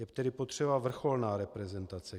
Je tedy potřeba vrcholná reprezentace.